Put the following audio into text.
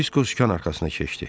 Disko sükan arxasına keçdi.